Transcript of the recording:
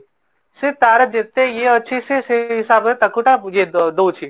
ସେ ତାର ଯେତେ ୟେ ଅଛି ସେ ସେଇ ହିସାବରେ ତାକୁ ତା ବୁଝାଇ ଦଉଛି